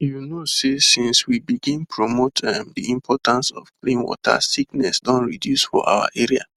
you know say since we begin promote um the importance of clean water sickness don reduce for our area